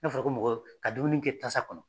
N'a fɔra ko mɔgɔ, ka dumuni kɛ tasa kɔnɔ.